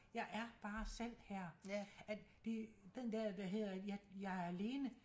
Jeg er bare selv her at det den dér hvad hedder jeg er alene